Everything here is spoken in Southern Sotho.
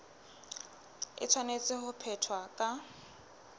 e tshwanetse ho phethwa ka